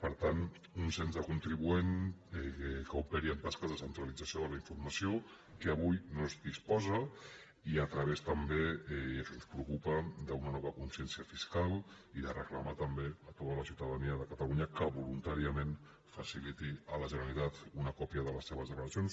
per tant un cens de contribuents que operi amb tasques de centralització de la informació de què avui no es disposa i a través també i això ens preocupa d’una nova consciència fiscal i de reclamar també a tota la ciutadania de catalunya que voluntàriament faciliti a la generalitat una còpia de les seves declaracions